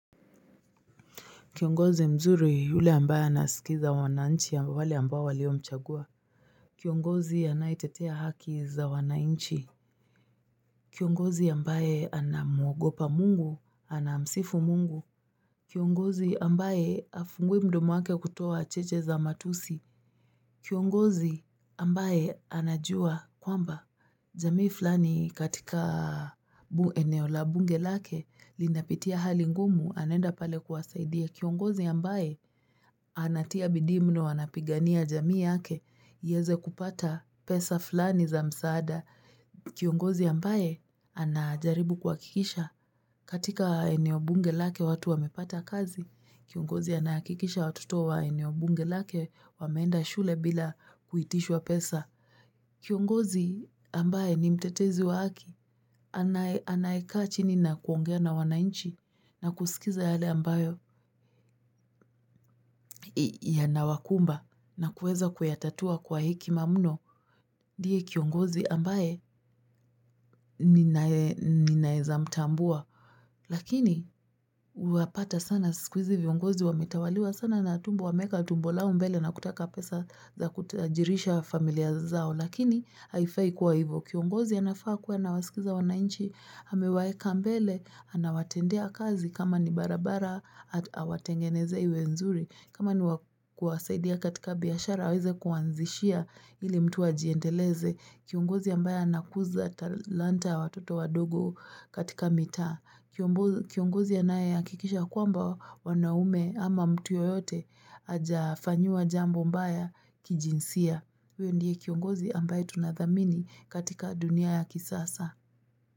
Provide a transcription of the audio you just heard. Kiongozi mzuri huli ambaye anasikiza wanaanchi ya wale ambao walio mchagua. Kiongozi anaitetea haki za wanainchi. Kiongozi ambaye anamuogopa mungu, anamsifu mungu. Kiongozi ambaye afungui mdomo wake kutuwa cheche za matusi. Kiongozi ambaye anajua kwamba. Jamii fulani katika bueneo la bunge lake linapitia hali ngumu anenda pale kuwasaidia. Kiongozi ambaye anatia bidii mno wanapigania jamii yake, yeze kupata pesa fulani za msaada. Kiongozi ambaye anajaribu kwa kikisha katika eneo bunge lake watu wamepata kazi. Kiongozi anakikisha watoto wa eneo bunge lake wameenda shule bila kuitishwa pesa. Kiongozi ambaye ni mtetezi wa aki. Anaekaa chini na kuongea na wanainchi na kusikiza yale ambayo yanawakumba na kueza kuyatatua kwa hekima muno ndiye kiongozi ambaye ninaezamtambua. Lakini wapata sana sikuizi viongozi wametawaliwa sana na tumbo wa meka tumbo lao mbele na kutaka pesa za kutajirisha familia zao. Lakini haifai kuwa hivo. Kiongozi anafaa kuwa na wasikiza wanainchi, amewayeka mbele, anawatendea kazi kama ni barabara atawatengeneze iwe nzuri. Kama ni kwasaidia katika biashara, aweze kuanzishia ili mtu wa jiendeleze. Kiongozi ambaye anakuza talanta watoto wadogo katika mitaa. Kiongozi ya nae ya kikisha kwamba wanaume ama mtu yoyote aja fanyiwa jambo mbaya kijinsia. Huyo ndiye kiongozi ambaye tunadhamini katika dunia ya kisasa.